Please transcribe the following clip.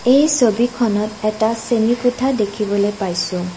এই ছবিখনত এটা শ্ৰেণীৰ কোঠা দেখিবলে পাইছোঁ।